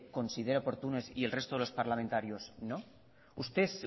considera oportunas y el resto de los parlamentarios no